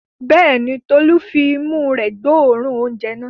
Bẹ́ẹ̀ ni, Tolú fi imú rẹ̀ gbóòórùn oúnjẹ náà.